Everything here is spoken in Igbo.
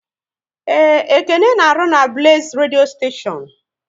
Yes, Ekene works with the Blaze radio station